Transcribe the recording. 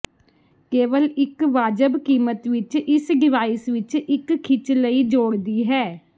ਕੇਵਲ ਇੱਕ ਵਾਜਬ ਕੀਮਤ ਇਸ ਡਿਵਾਈਸ ਵਿੱਚ ਇੱਕ ਖਿੱਚ ਲਈ ਜੋੜਦੀ ਹੈ